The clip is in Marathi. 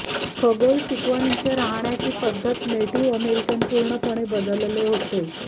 खगोल शिकवणींचे राहण्याची पद्धत नेटिव्ह अमेरिकन पूर्णपणे बदलले होते